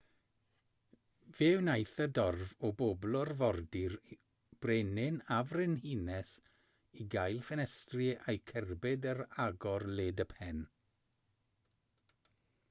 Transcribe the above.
fe wnaeth y dorf o bobl orfodi'r brenin a'r frenhines i gael ffenestri eu cerbyd ar agor led y pen